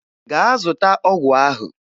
Gaa zụta ọgwụ ahụ!